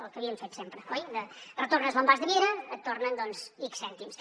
el que havíem fet sempre oi retornes l’envàs de vidre et tornen ics cèntims